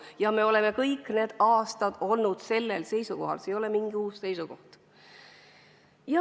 Ja me oleme kõik need aastad olnud samal seisukohal, see ei ole mingi uus seisukoht.